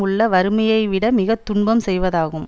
உள்ள வறுமையைவிட மிகத்துன்பம் செய்வதாகும்